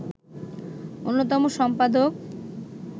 অন্যতম সম্পাদক